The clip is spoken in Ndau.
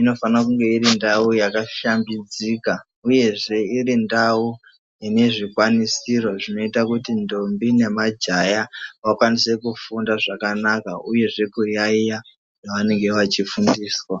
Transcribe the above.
inofana kunge irindau yakashambidzika uyezve iri ndau ine zvikwanisiro zvinoita kuti ndombi nemajaha vakwanise kufunda zvakanaka uyezve kuyayeya zvavanenge vachifundiswa.